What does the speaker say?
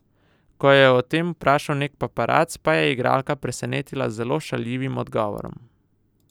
Ko jo je o tem vprašal neki paparac, pa je igralka presenetila z zelo šaljivim odgovorom.